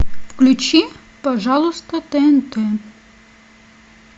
включи пожалуйста тнт